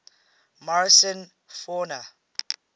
morrison fauna